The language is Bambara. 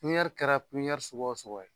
Kunyɛri kɛra kunyɛri suguya o suguya ye